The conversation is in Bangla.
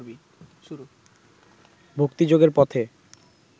ভক্তিযোগের পথে